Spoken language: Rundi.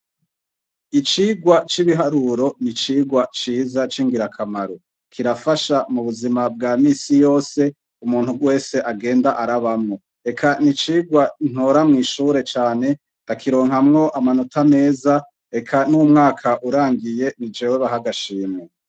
Icigwa c'ibiharuro ni Icigwa ciza c'ingira kamaro. Kirafasha munbuzima bwa minsi yose umuntu wese agenda arabamwo. Eka ni icigwa ntora mw'ishure cane nkakironkamwo amanota meza, eka n'umwaka urangiye, ni jewe baha agashimwe.